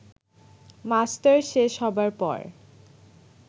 masters শেষ হবার পর